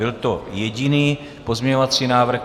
Byl to jediný pozměňovací návrh.